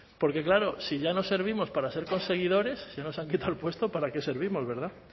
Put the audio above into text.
porque claro si ya nos servimos para ser conseguidores si ya nos han quitado el puesto para qué servimos verdad